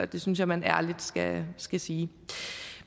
det synes jeg man ærligt skal skal sige